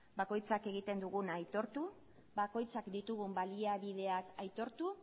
bakoitzak egiten duguna aitortu bakoitzak ditugun baliabideak aitortu